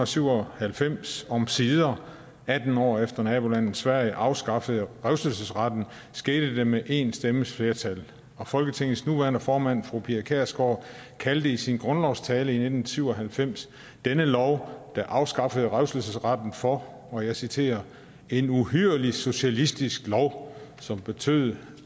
syv og halvfems omsider atten år efter nabolandet sverige afskaffede revselsesretten skete det med én stemmes flertal og folketingets nuværende formand fru pia kjærsgaard kaldte i sin grundlovstale i nitten syv og halvfems denne lov der afskaffede revselsesretten for og jeg citerer en uhyrlig socialistisk lov som betød